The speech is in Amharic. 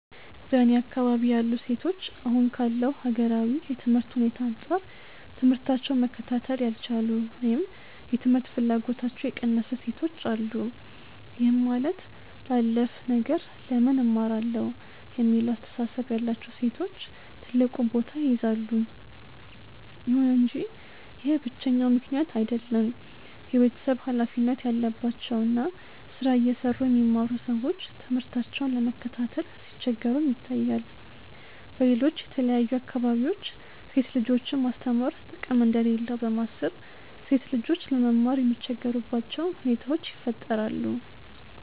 በእኔ አካባቢ ያሉ ሴቶች አሁን ካለው ሀገራዊ የትምህርት ሁኔታ አንጻር ትምህታቸውን መከታተል ያልቻሉ ወይም የትምህርት ፍላጎታቸው የቀነሰ ሴቶች አሉ። ይህም ማለት ላላፍ ነገር ለምን እማራለሁ የሚለው አስተሳሰብ ያላቸው ሴቶች ትልቁን ቦታ ይይዛሉ። ይሁን እንጂ ይህ ብቸኛው ምክንያት አይደለም። የቤተሰብ ሀላፊነት ያለባቸው እና ስራ እየሰሩ የሚማሩ ሰዎች ትምህርታቸውን ለመከታተል ሲቸገሩም ይታያል። በሌሎች የተለያዩ አካባቢዎች ሴት ልጆችን ማስተማር ጥቅም እንደሌለው በማሰብ ሴት ልጆች ለመማር የሚቸገሩባቸው ሁኔታዎች ይፈጠራሉ።